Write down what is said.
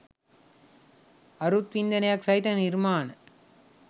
අරුත් වින්දනයක් සහිත නිර්මාණ